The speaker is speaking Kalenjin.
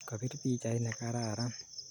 Kapir pichait ne kararan